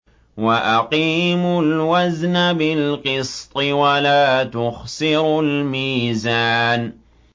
وَأَقِيمُوا الْوَزْنَ بِالْقِسْطِ وَلَا تُخْسِرُوا الْمِيزَانَ